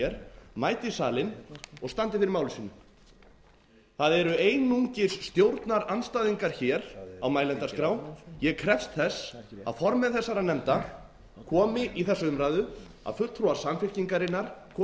hér mæti í salinn og standi fyrir máli sínu það eru einungis stjórnarandstæðingar hér á mælendaskrá ég krefst þess að formenn þessara nefnda komi í þessa umræðu að fulltrúa samfylkingarinnar komi hér